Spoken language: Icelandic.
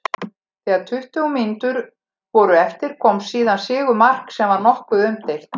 Þegar tuttugu mínútur voru eftir kom síðan sigurmark sem var nokkuð umdeilt.